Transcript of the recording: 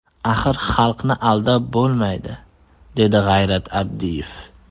Axir xalqni aldab bo‘lmaydi”, dedi G‘ayrat Abdiyev.